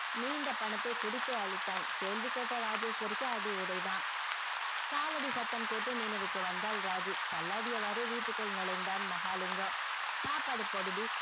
நீண்ட பணத்தை குடித்தே அழித்தான் கேள்வி கேட்ட ராஜேஷ்வரிக்கு அடி உதை தான் காலடி சத்தம் கேட்டு நினைவுக்கு வந்தால் ராஜி தள்ளாடிய வாரே வீட்டுக்கு நுழைந்தால் மகாலிங்கம் சாப்பாடு போடு டி